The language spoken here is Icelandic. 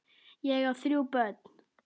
Ég á þrjú börn.